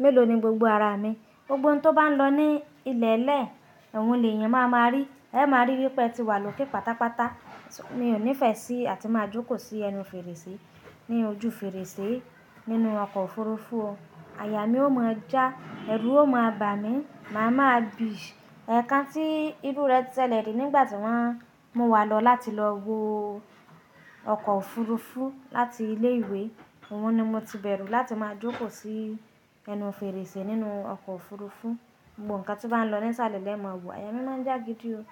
mélòó ni gbogbo ara mi, gbogbo ohun tó bá ń lọ ní ilẹ̀ẹ̀lẹ̀, òhun lèèyàn máa ma rí. Ẹ máa rí wípé ẹ ti wà lókè pátápátá. Mi ò nífẹ̀ẹ́ sí láti máa jókòó sí ẹnu fèrèsé, ní ojú fèrèsé nínú ọkọ̀ òfurufú o. Àyà mi ó máa já, ẹrù ó máa bà mí, màá ma bì. Ẹ̀kan tí ìrú rẹ ṣẹ́lẹ̀ ni nígbà tí wọ́n mú wa lọ láti lọ wo ọkọ̀ òfurufú láti ilé ìwé, òun ni mo ti bẹ̀rù láti máa jókòó sí ẹnu fèrèsé nínú ọkọ̀ òfurufú. Gbogbo nǹkan tí ó bá ń lọ ní ìsàlẹ̀ lè máa wò, àyà mi má ń já gidi o.